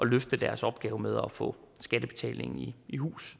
løfte deres opgave med at få skattebetalingen i hus